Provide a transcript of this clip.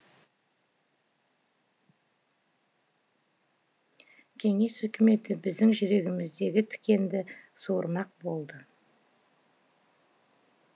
кеңес өкіметі біздің жүрегіміздегі тікенді суырмақ болды